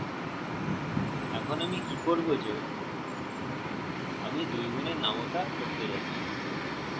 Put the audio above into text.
এখন আমি কি করবো যেআমি 2 গুনের নামতা করতে যাচ্ছি